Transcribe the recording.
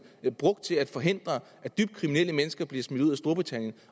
brugt til at forhindre at dybt kriminelle mennesker bliver smidt ud af storbritannien